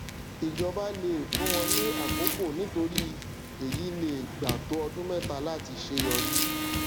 ìjọba le fún wọn ní àkókò nítorí èyí lè gbà tó ọdún mẹta láti ṣe yọrí